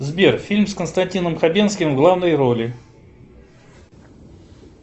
сбер фильм с константином хабенским в главной роли